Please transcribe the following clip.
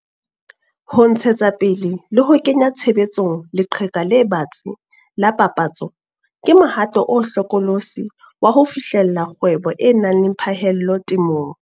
Ho ntshetsa pele le ho kenya tshebetsong leqheka le batsi la papatso ke mohato o hlokolosi wa ho fihlella kgwebo e nang le phaello temong.